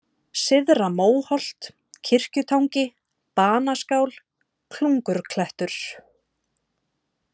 Syðra-Móholt, Kirkjutangi, Banaskál, Klungurklettur